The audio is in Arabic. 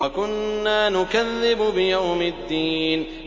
وَكُنَّا نُكَذِّبُ بِيَوْمِ الدِّينِ